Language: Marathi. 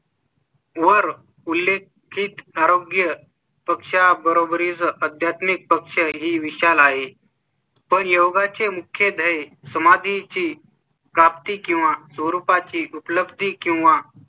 वर उल्लेखित आरोग्य पेक्षा बरोबरीच्या अध्यात्मिक पक्ष ही विशाल आहे. पण योगा चे मुख्य समाधी ची प्राप्ती किंवा रूपा ची उपलब्धी किंवा.